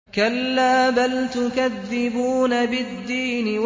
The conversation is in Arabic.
كَلَّا بَلْ تُكَذِّبُونَ بِالدِّينِ